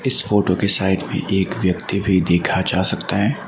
इस फोटो की साइड में एक व्यक्ति भी देखा जा सकता है।